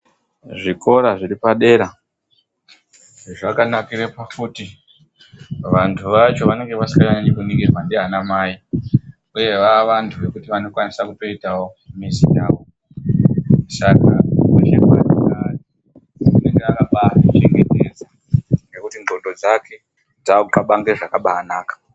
Zvikora zviri padera zvakanakira pakuti vantu vacho vanenge vasinganyanyi kuningirwa ndiana mai uye vaantu vakukwanisa kuitawo mizi yavo. Saka kwese kwanenge ari, anenge akazvichengetedza ngokuti ngondlo dzake kabahlange zvakabanaka.